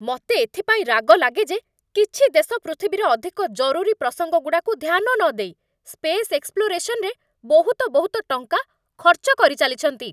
ମତେ ଏଥିପାଇଁ ରାଗ ଲାଗେ ଯେ କିଛି ଦେଶ ପୃଥିବୀର ଅଧିକ ଜରୁରୀ ପ୍ରସଙ୍ଗଗୁଡ଼ାକୁ ଧ୍ୟାନ ନଦେଇ, ସ୍ପେସ୍ ଏକ୍ସପ୍ଲୋରସନ୍‌ ରେ ବହୁତ ବହୁତ ଟଙ୍କା ଖର୍ଚ୍ଚ କରିଚାଲିଛନ୍ତି ।